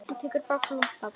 Hann tekur bakföll af hlátri.